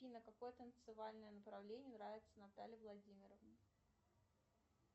афина какое танцевальное направление нравится наталье владимировне